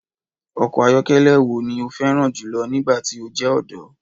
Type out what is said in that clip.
Ọkọ ayọkẹlẹ wo ni o fẹran julọ nigbati o jẹ ọdọ?